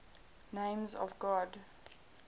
names of god